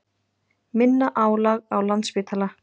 Minna álag á Landspítala